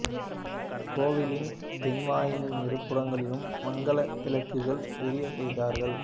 கோவிலின் தென்வாயிலின் இரு புறங்களிலும் மங்கல விளக்குகள் எரியச் செய்தார்